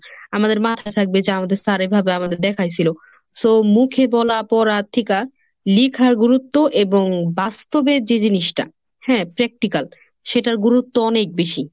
আমাদের মাথায় থাকবে যে আমাদের sir এভাবে আমাদের দেখাই ছিল so মুখে বলা পড়া থিকা লিখার গুরুত্ব এবং বাস্তবের যে জিনিসটা হ্যাঁ practical সেটার গুরুত্ব অনেক বেশি।